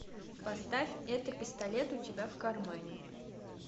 поставь это пистолет у тебя в кармане